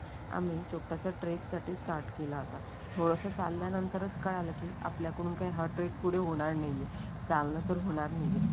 आणि चोपटा चा ट्रेक साठी स्टार्ट केला होता. थोडसं चालल्यानंतर च कळालं की आपल्याकडून हा ट्रेक पुढे होणार नाहीये चाललं तर होणार नाहीये.